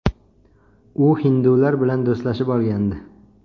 U hindular bilan do‘stlashib olgandi.